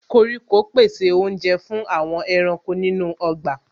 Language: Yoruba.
Koríko pèsè oúnjẹ fún àwọn ẹranko nínú ọgbà